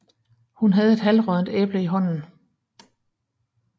Hun havde et halvråddent æble i hånden